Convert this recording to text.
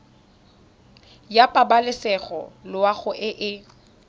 ya pabalesego loago e e